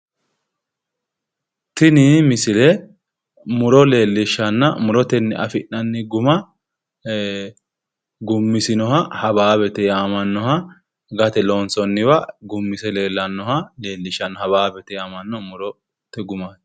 Tini misile muro leellishanna murotenni afi'nanni guma hawaawete yinanniha leellishanno